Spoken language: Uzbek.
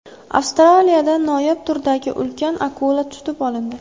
Avstraliyada noyob turdagi ulkan akula tutib olindi .